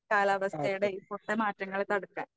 കാലാവസ്ഥയുടെ ഈ പൊട്ട മാറ്റങ്ങളെ തടുക്കാൻ.